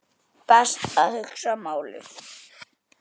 Best að hugsa málið.